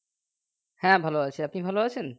হ্যাঁ ভালো আছি আপনি ভালো আছেন